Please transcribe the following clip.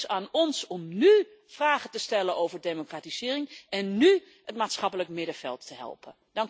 Dus het is aan ons om nu vragen te stellen over democratisering en nu het maatschappelijk middenveld te helpen.